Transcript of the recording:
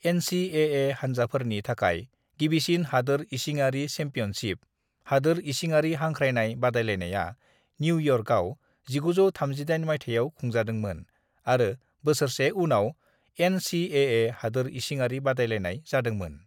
"NCAA हानजाफोरनि थाखाय गिबिसिन हादोर इसिङरि चेम्पियनशिप, हादोर इसिङारि हांख्रायनाय बादायलायनाया न्युयर्काव, 1938 मायथायाव खुंजादोंमोन आरो बोसोरसे उनाव एन.सी.ए.ए हादोर इसिङारि बादायलायनाय जादोंमोन।"